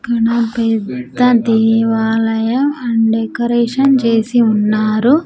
--క్కడ పెద్ద దేవాలయం అండ్ డెకరేషన్ చేసి ఉన్నారు.